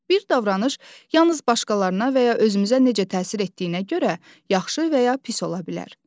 Bir davranış yalnız başqalarına və ya özümüzə necə təsir etdiyinə görə yaxşı və ya pis ola bilər.